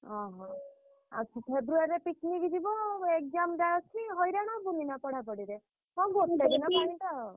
ଅହୋ! ଆଉ February ରେ picnic ଯିବ ଆଉ exam ଟା ଅଛି ହଇରାଣ ହବୁନି ନା ପଢାପଢିରେ? ହଁ ଗୋଟେ ଦିନ ପାଇଁ ତ।